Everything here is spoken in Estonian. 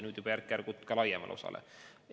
Nüüd laieneb see järk-järgult ka teistele.